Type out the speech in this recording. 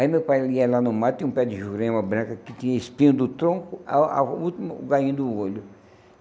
Aí meu pai ia lá no mato, tinha um pé de jurema branco, que tinha espinho do tronco, ao ao e o último, o galhinho do olho.